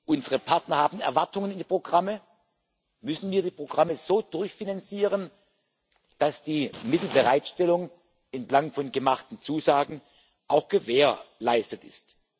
Unsere Partner haben Erwartungen in die Programme und müssen ihre Programme so durchfinanzieren, dass die Mittelbereitstellung entlang der gemachten Zusagen auch gewährleistet ist.